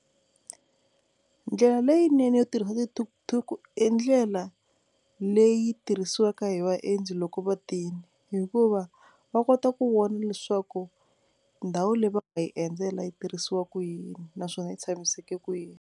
Ndlela leyinene yo tirhisa ti-tuk-tuk i ndlela leyi tirhisiwaka hi vaendzi loko va tini hikuva va kota ku vona leswaku ndhawu leyi va nga yi endzela yi tirhisiwa ku yini naswona yi tshamiseke ku yini.